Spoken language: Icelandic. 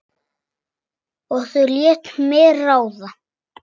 Og þau létu mig ráða.